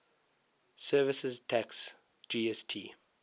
services tax gst